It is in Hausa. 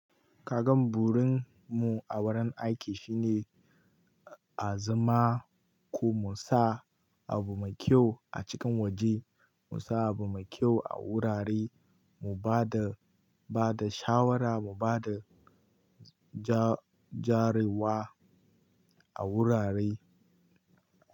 Kagan burin mu a wurin aiki shine a zama ko mu sa abu mai kyau a cikin waje, mu sa abu mai kyau a wurare, mu ba da, ba da shawara, mu ba da ja-jarewa a wurare.